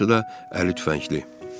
Hamısı da əli tüfəngli.